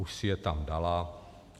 Už si je tam dala.